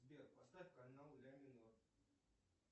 сбер поставь канал ля минор